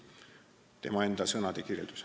See on tema enda sõnade kirjeldus.